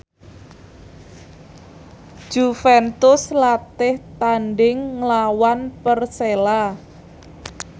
Juventus latih tandhing nglawan Persela